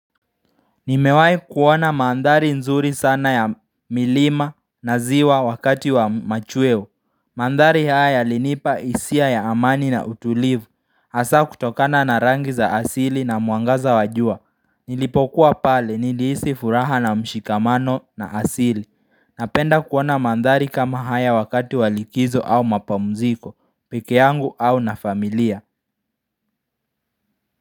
Nimewahi kuona mandhari nzuri sana ya milima na ziwa wakati wa machweo Mandhari haya yalinipa hisia ya amani na utulivu Hasa kutokana na rangi za asili na mwangaza wa jua. Nilipokuwa pale nilihisi furaha na mshikamano na asili. Napenda kuona mandhari kama haya wakati wa likizo au mapumziko peke yangu au na familia.